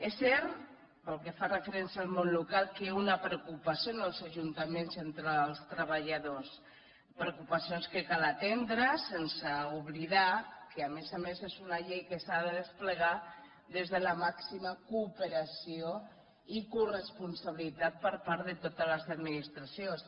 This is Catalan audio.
és cert pel que fa referència al món local que hi ha una preocupació als ajuntaments entre els ajuntaments i entre els treballadors preocupacions que cal atendre sense oblidar que a més a més és una llei que s’ha de desplegar des de la màxima cooperació i coresponsabilitat per part de totes les administracions